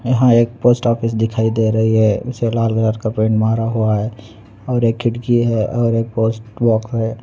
यहाँ एक post office दिख रही है उस पर लाल कलर का पेंट मारा हुआ है और एक खिड़की है और एक पोस्ट बॉक्स है|